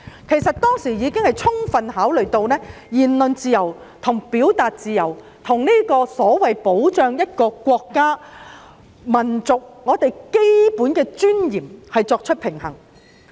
事實上，法院當時已充分考慮，並就言論自由和表達自由與所謂保障一個國家、民族的基本尊嚴作出平衡。